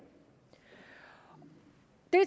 er